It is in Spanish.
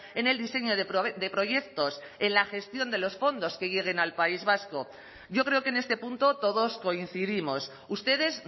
en el diseño de proyectos en la gestión de los fondos que lleguen al país vasco yo creo que en este punto todos coincidimos ustedes